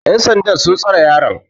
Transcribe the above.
yansandan sun tsare yaron